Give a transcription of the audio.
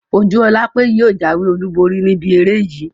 Ojúọlápé yóò jáwé olùborí níbi eré yìí